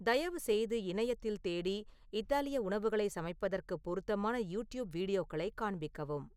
தயவுசெய்து இணையத்தில் தேடி இத்தாலிய உணவுகளை சமைப்பதற்கு பொருத்தமான யூடியூப் வீடியோக்களைக் காண்பிக்கவும்